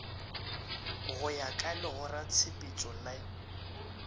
go ya ka legoratshepetšo le